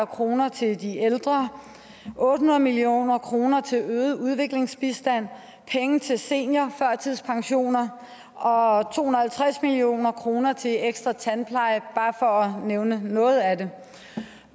kroner til de ældre otte hundrede million kroner til øget udviklingsbistand penge til seniorførtidspensioner og to hundrede og halvtreds million kroner til ekstra tandpleje bare for at nævne noget af det